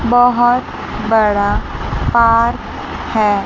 बहोत बड़ा पार्क है।